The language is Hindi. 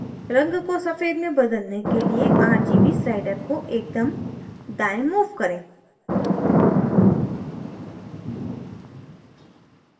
रंग को सफेद में बदलने के लिए rgb sliders को एकदम दाएँ move करें